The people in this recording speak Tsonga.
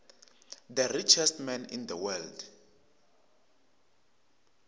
the richest man in the world